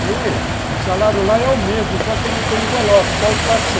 Mãe, o salário lá é o mesmo, só que não tem envelope, só os quatrocentos, ah.